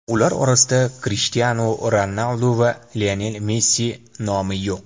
Ular orasida Krishtianu Ronaldu va Lionel Messi nomi yo‘q.